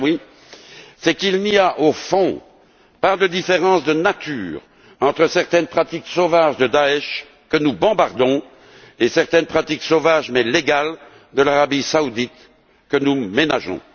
Badaoui, c'est qu'il n'y a, au fond, pas de différence de nature entre certaines pratiques sauvages du groupe État islamique, que nous bombardons, et certaines pratiques sauvages mais légales de l'Arabie saoudite, que nous ménageons.